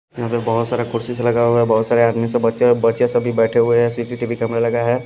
यहाँ पे बहुत सारा कुर्सी से लगा हुआ है बहुत सारे आदमी से बच्चे बच्चे सभी बैठे हुए हैं C_ C_ T_ V_ camera लगा है।